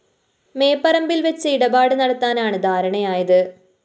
മേപ്പറമ്പില്‍ വെച്ച് ഇടപാട് നടത്താനാണ് ധാരണയായത്